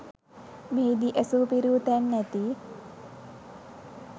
මෙහිදී ඇසු පිරූ තැන් ඇති